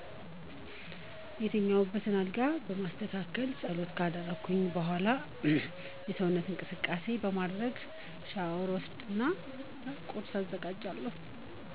የተኛውበትን አልጋ በማስተካከል ጸሎት ካደረኩ በዃላ የሰውነት እንቅስቃሴ በማድረግ ሻወር ወስጀ ቁርስ አዘጋጃለሁ